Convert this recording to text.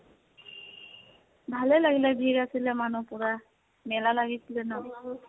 ভালে লাগিলে । ভিৰ আছিলে মানুহ পুৰা, মেলা লাগিছিলে ন